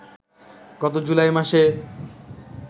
গত জুলাই মাসে